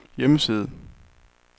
hjemmeside